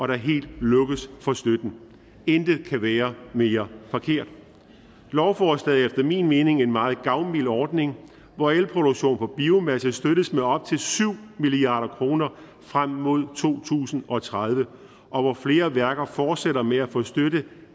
der helt lukkes for støtten intet kunne være mere forkert lovforslaget er efter min mening en meget gavmild ordning hvor elproduktion på biomasse støttes med op til syv milliard kroner frem mod to tusind og tredive og hvor flere værker fortsætter med at få støtte